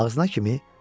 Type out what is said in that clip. Ağzına kimi?